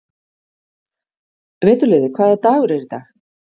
Veturliði, hvaða dagur er í dag?